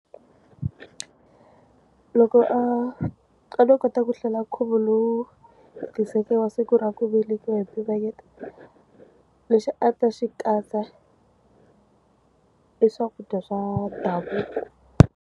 Loko a a ndzo kota ku hlela nkhuvo lowu tiseke wa siku ra ku velekiwa hi mpimanyeto lexi a ta xi katsa i swakudya swa ndhavuko.